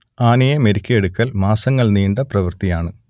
ആനയെ മെരുക്കിയെടുക്കൽ മാസങ്ങൾ നീണ്ട പ്രവൃത്തിയാണ്